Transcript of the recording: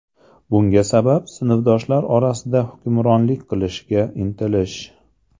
Bunga sabab sinfdoshlar orasida hukmronlik qilishga intilish.